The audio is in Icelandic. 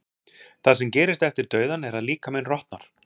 það sem gerist eftir dauðann er að líkaminn rotnar